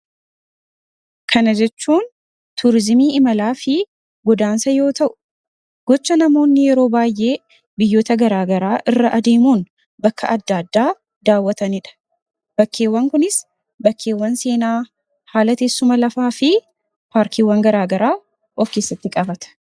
kana jechuun tuurizimii imalaa fi godaansa yoo ta'u gocha namoonni yeroo baay'ee biyyota garaagaraa irra adeemuun bakka adda addaa daawwataniidha bakkeewwan kunis bakkeewwan seenaa haalateessuma lafaa fi paarkiiwwan garaagaraa ofkeessatti qabata